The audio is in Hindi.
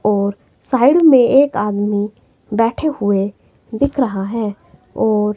और साइड में एक आदमी बैठे हुए दिख रहा है और--